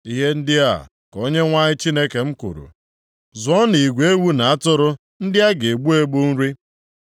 Ihe ndị a ka Onyenwe anyị Chineke m kwuru, “Zụọnụ igwe ewu na atụrụ ndị a ga-egbu egbu nri.